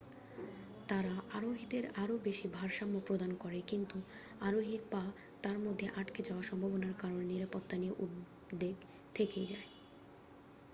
তারা আরোহীদের আরও বেশি ভারসাম্য প্রদান করে কিন্তু আরোহীর পা তার মধ্যে আটকে যাওয়ার সম্ভাবনার কারণে নিরাপত্তা নিয়ে উদ্বেগ থেকেই যায়